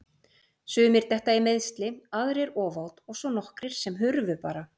Sumir detta í meiðsli, aðrir ofát og svo nokkrir sem hurfu bara.